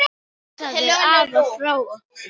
Knúsaðu afa frá okkur.